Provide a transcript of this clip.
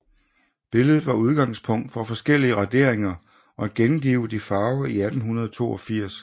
Billedet var udgangspunkt for forskellige raderinger og gengivet i farve i 1882